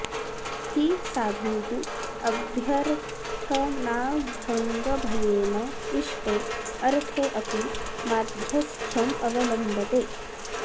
हि साधुः अभ्यर्थनाभङ्गभयेन इष्टे अर्थे अपि माध्यस्थ्यम् अवलम्बते